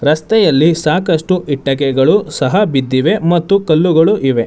ರಸ್ತೆಯಲ್ಲಿ ಸಾಕಷ್ಟು ಇಟ್ಟಕೆಗಳು ಸಹ ಬಿದ್ದಿವೆ ಮತ್ತು ಕಲ್ಲುಗಳು ಇವೆ.